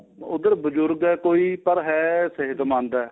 ਉਧਰ ਬਜ਼ੁਰਗ ਏ ਕੋਈ ਪਰ ਏਹ ਸਿਹਤਮੰਦ ਏ